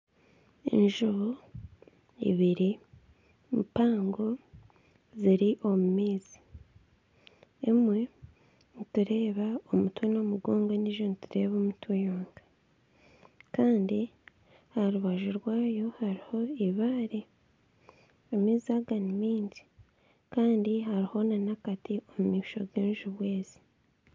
Enjubu ibiri mpango ziri omu maizi. Emwe nitureeba omutwe n'omugongo endiijo nitureeba omutwe gwonka. Kandi aha rubaju rwayo hariho eibare. Amaizi aga ni mingi. Kandi hariho n'akati omu maisho g'enjubu ezi.